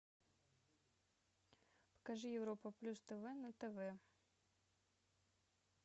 покажи европа плюс тв на тв